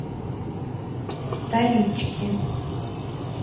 столички